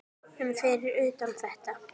um fyrir utan þetta.